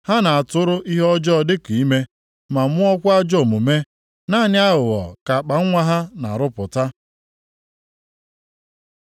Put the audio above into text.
Ha na-atụrụ ihe ọjọọ dịka ime, ma mụọkwa ajọọ omume; naanị aghụghọ ka akpanwa ha na-arụpụta.”